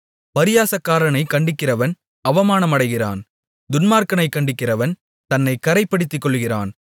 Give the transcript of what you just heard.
பரியாசக்காரனைக் கண்டிக்கிறவன் அவமானமடைகிறான் துன்மார்க்கனைக் கண்டிக்கிறவன் தன்னைக் கறைப்படுத்திக்கொள்ளுகிறான்